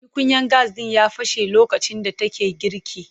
Tukunyan gas ɗin ya fashe lokacin da take girki.